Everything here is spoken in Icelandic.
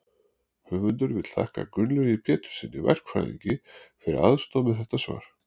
höfundur vill þakka gunnlaugi péturssyni verkfræðingi fyrir aðstoð við þetta svar